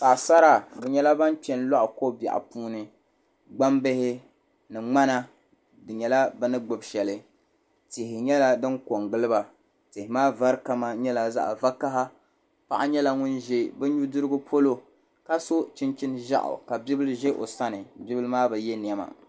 Paɣasara bi nyɛla ban kpɛ n loɣi ko biɛɣu puuni gbambihi ni ŋmana di nyɛla bini gbubi shɛli tihi nyɛla din ko n giliba tihi maa vari kama nyɛla zaɣ vakaɣa paɣa nyɛla ŋun ʒɛ bi nudirigu polo ka so chinchin ʒiɛɣu ka bibil ʒɛ o sani bibil maa bi yɛ niɛma